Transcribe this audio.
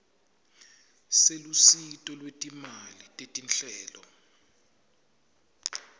selusito lwetimali tetinhlelo